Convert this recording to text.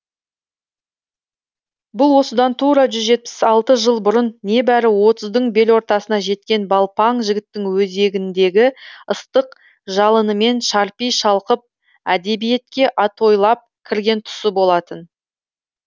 бұл осыдан тура жүз жетпіс алты жыл бұрын небәрі отыздың белортасына жеткен балпаң жігіттің өзегіндегі ыстық жалынымен шарпи шалқып әдебиетке атойлап кірген тұсы болатын